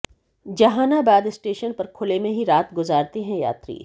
Jehanabad station पर खुले में ही रात गुजारते हैं यात्री